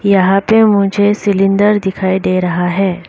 यहां पे मुझे सिलेंडर दिखाई दे रहा है।